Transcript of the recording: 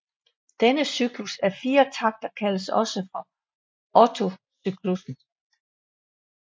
Denne cyklus af fire takter kaldes også for Otto cyklussen